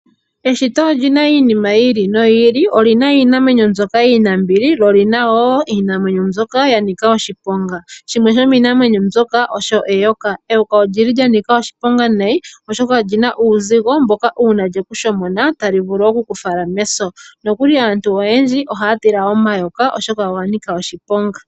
Eshito olyina iinima yi ili noyi ili. Olina iinamwenyo mbyoka iinambili osho woo mbyoka yanika oshiponga. Shimwe shomiinamwenyo mbyoka yanika oshiponga osho eyoka. Eyoka olya nika oshiponga nayi oshoka olyina uuzigo nongele olye kushomona otovulu okusa. Aantu oyendji ohaya tula omayoka oshoka oga nika oshiponga.